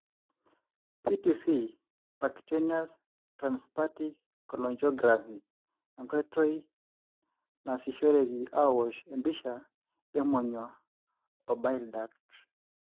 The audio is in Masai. PTC (percutaneous transhepatic cholangiography): enkoitoi nasishoreki aosh empisha emonyua o bile duct.